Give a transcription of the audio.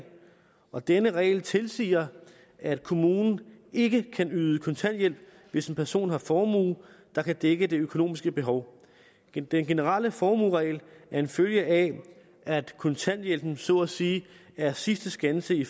og denne regel tilsiger at kommunen ikke kan yde kontanthjælp hvis en person har formue der kan dække det økonomiske behov den generelle formueregel er en følge af at kontanthjælpen så at sige er sidste skanse i